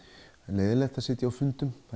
leiðinlegt að sitja á fundum